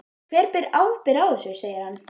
Hver ber ábyrgð á þessu? segir hann.